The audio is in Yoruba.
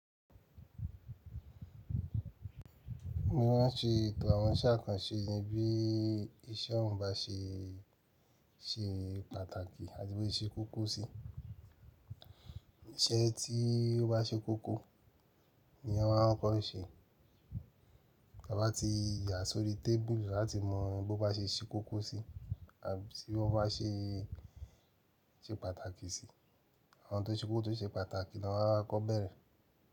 Mo ma n ṣe ètò àwọn iṣẹ́ àkànṣe ni bí iṣẹ́ ọn bá ṣe ṣe pàtàkì àti bí ó ṣe koko sí. Iṣẹ́ tí ó bá ṣe koko ni a ma n kọ́kọ ṣe. Ti a bá ti yà sórí tébùru láti mọ bí ó bá ṣe ṣe koko sí àbí bí ó bá ṣe pàtàkì sí. Àwọn tó ṣe kókó tó ṣe pàtàkì ni a ma ń kọ́ bẹ́ẹ̀rẹ́.